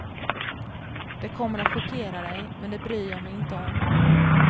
Det kommer att chockera dig, men det bryr jag mig inte om.